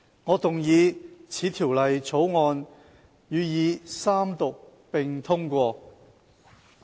我動議此條例草案予以三讀並通過。